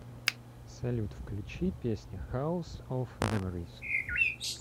салют включи песня хаус оф меморис